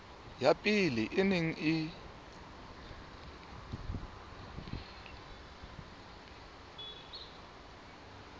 ya pele e neng e